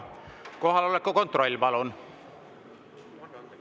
Kohaloleku kontroll, palun!